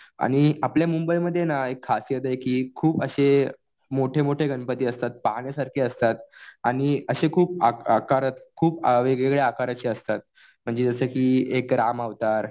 आणि आपल्या मुंबईमध्ये ना एक खासियत आहे कि खूप असे मोठे-मोठे गणपती असतात. पाहण्यासारखे असतात आणि असे खूप आकारात खूप वेगवेगळ्या आकाराचे असतात. म्हणजे जसं कि एक राम अवतार